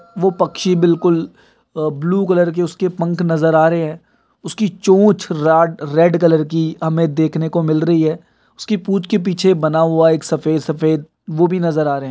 वह पक्षी बिलकुल ब्लू कलर की पंख नजर आ रहे हैं। उसकी चोंच रॉड रेड कलर की हमें देखने को मिल रही है। उसकी पूछ के पीछे बना हुआ एक सफ़ेद सफ़ेद वह भी नजर आ रहा हैं।